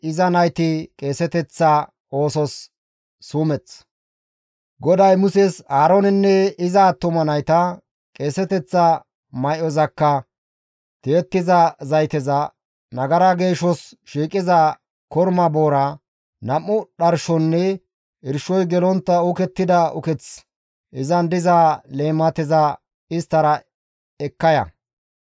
«Aaroonenne iza attuma nayta, qeeseteththa may7ozakka, tiyettiza zayteza, nagara geeshos shiiqiza korma boora, nam7u dharshonne irshoy gelontta uukettida ukeththi izan diza leemateza isttara ekka ya.